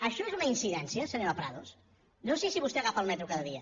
això és una incidència senyora prados no sé si vostè agafa el metro cada dia